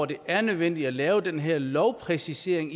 det er nødvendigt at lave den her lovpræcisering